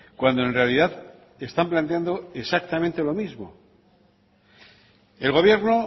cuando en realidad están planteando exactamente lo mismo el gobierno